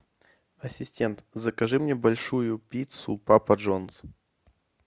ассистент закажи мне большую пиццу папа джонс